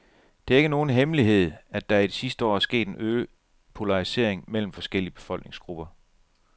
Det er ikke nogen hemmelighed, at der i de sidste år er sket en øget polarisering mellem forskellige befolkningsgrupper.